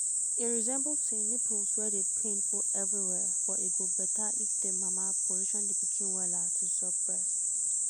e resemble say nipples wey dey pain full everywhere but e go better if the mama position the pikin wella to suck breast.